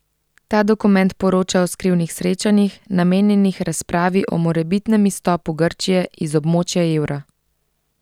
Ta dokument poroča o skrivnih srečanjih, namenjenih razpravi o morebitnem izstopu Grčije iz območja evra.